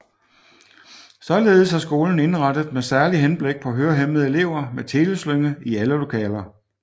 Således er skolen indrettet med særlig henblik på hørehæmmede elever med teleslynge i alle lokaler